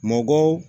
Mɔgɔw